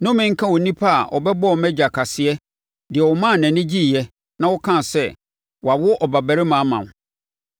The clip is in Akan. Nnome nka onipa a ɔbɛbɔɔ mʼagya kaseɛ, deɛ ɔmaa nʼani gyeeɛ, na ɔkaa sɛ, “Wɔawo ɔbabarima ama wo!”